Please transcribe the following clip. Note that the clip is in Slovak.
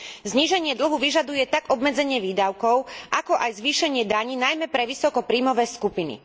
Zníženie dlhu si vyžaduje tak obmedzenie výdavkov, ako aj zvýšenie daní, najmä pre vysoko príjmové skupiny.